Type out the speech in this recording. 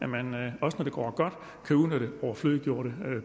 man også når det går godt kan udnytte overflødiggjorte